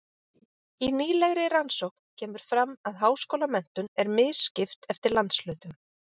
Í nýlegri rannsókn kemur fram að háskólamenntun er misskipt eftir landshlutum.